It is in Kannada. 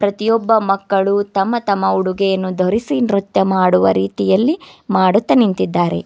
ಪ್ರತಿಯೊಬ್ಬ ಮಕ್ಕಳು ತಮ್ಮ ತಮ್ಮ ಉಡುಗೆಯನ್ನು ಧರಿಸಿ ನೃತ್ಯ ಮಾಡುವ ರೀತಿಯಲ್ಲಿ ಮಾಡುತ್ತ ನಿಂತಿದ್ದಾರೆ.